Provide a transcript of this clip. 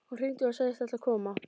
Hún hringdi og sagðist ætla að koma.